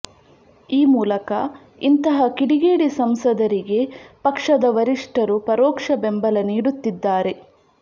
ಈ ಮೂಲಕ ಇಂತಹ ಕಿಡಿಗೇಡಿ ಸಂಸದರಿಗೆ ಪಕ್ಷದ ವರಿಷ್ಠರು ಪರೋಕ್ಷ ಬೆಂಬಲ ನೀಡುತ್ತಿದ್ದಾರೆ